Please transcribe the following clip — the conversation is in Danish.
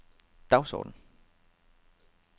dagsorden